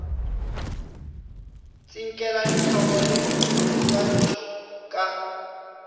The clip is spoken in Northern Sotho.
tsinkela dihlogo le diswantšho ka